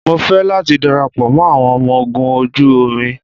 Mo ń fẹ́ láti darapọ̀ mọ́ àwọn ọmọ ogun ojú omi